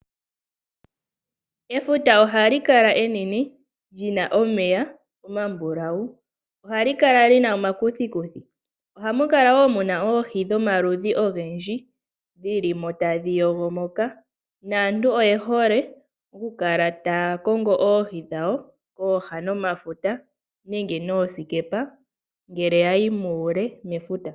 Efuta ohali kala enene lina omeya omambulawu, ohali kala lina omakuthikuthi, ohamu kala wo muna oohi dhomaludhi ogendji dhili mo tadhi yogo moka, naantu oye hole okukala taya kongo oohi dhawo pooha nomafuta nenge noosikepa ngele yayi muule mefuta.